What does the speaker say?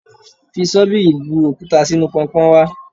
Fi ṣọ́bìrì bu òkúta sínú Pọnpọ́n wá.